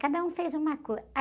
Ah, cada um fez uma coisa